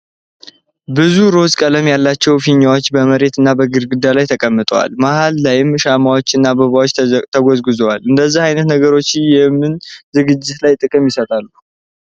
ብዙ ሮዝ ቀለም ያላቸው ፊኛዎች በመሬት እና በግድግዳው ላይ ተቀምጠዋል። መሃል ላይም ሻማዎች እና አበባዎች ተጎዝጉዘዋል። እንደዚህ አይነት ነገሮች የምን ዝግጅት ላይ ጥቅም ይሰጣሉ?